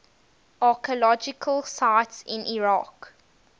archaeological sites in iraq